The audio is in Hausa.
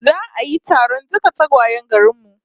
Za'a yi taron dukkan tagwayen garin mu